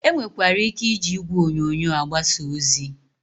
E nwekwara ike iji igwe onyonyo agbasa ozi.